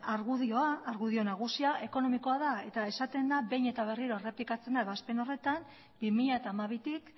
argudioa argudio nagusia ekonomikoa da eta esaten da behin eta berriro errepikatzen da ebazpen horretan bi mila hamabitik